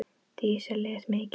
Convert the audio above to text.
Dísa les mikið.